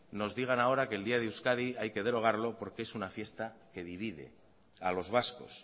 nos digan ahora que el día de euskadi hay que derogarlo porque es una fiesta que divide a los vascos